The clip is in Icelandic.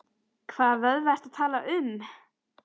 Hvaða vöðva ertu að tala um?